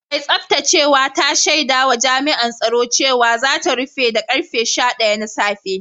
Mai tsaftacewa ta shaida wa Jami’an tsaro cewa za ta rufe da karfe sha daya na safe